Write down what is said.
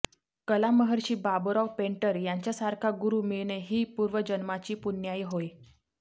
कलामहर्षी बाबुराव पेंटर यांच्यासारखा गुरू मिळणे ही पूर्वजन्माची पुण्याई होय